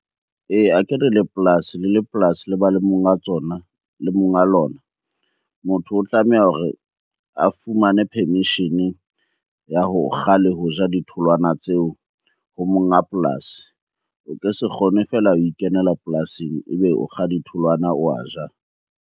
Ee, akere le polasi le le polasi le ba le monga tsona, le monga lona. Motho o tlameha hore a fumane permission-e ya ho kga le ho ja ditholwana tseo ho monga polasi. O ke se kgone fela ho ikenela polasing ebe o kga ditholwana oa ja.